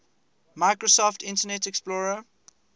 microsoft internet explorer